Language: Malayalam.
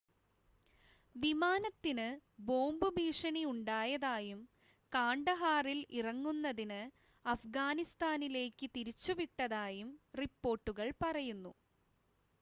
വിമാനത്തിന് ബോംബ് ഭീഷണി ഉണ്ടായതായും കാണ്ഡഹാറിൽ ഇറങ്ങുന്നതിന് അഫ്ഗാനിസ്ഥാനിലേക്ക് തിരിച്ചുവിട്ടതായും റിപ്പോർട്ടുകൾ പറയുന്നു